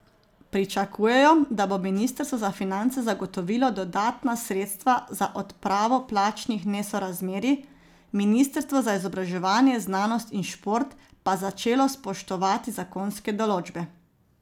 Pričakujejo, da bo ministrstvo za finance zagotovilo dodatna sredstva za odpravo plačnih nesorazmerij, ministrstvo za izobraževanje, znanost in šport pa začelo spoštovati zakonske določbe.